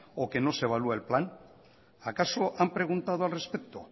o que no se evalúa el plan acaso han preguntado al respecto